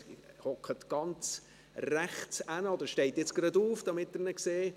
Er sitzt ganz rechts oder steht jetzt gerade auf, damit Sie ihn sehen.